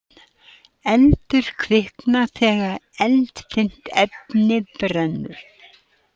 Eldur kviknar þegar eldfimt efni brennur.